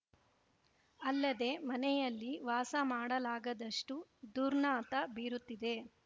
ಅಲ್ಲದೆ ಮನೆಯಲ್ಲಿ ವಾಸ ಮಾಡಲಾಗದಷ್ಟು ದುರ್ನಾತ ಬೀರುತ್ತಿದೆ